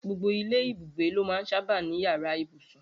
Gbogbo ilé ibùgbé ló máa ń sábà ní yàrá ibùsùn